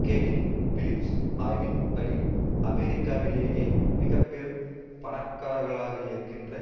Kevin Phillips ஆய்வின்படி அமெரிக்காவிலேயே மிக பெரும் பணக்காரர்களாகயிருக்கின்ற